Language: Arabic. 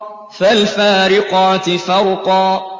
فَالْفَارِقَاتِ فَرْقًا